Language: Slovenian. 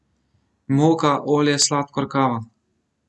Moka, olje, sladkor, kava ...